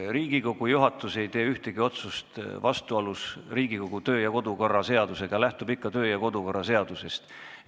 Riigikogu juhatus ei tee ühtegi otsust vastuolus Riigikogu kodu- ja töökorra seadusega, ta lähtub ikka kodu- ja töökorra seadusest.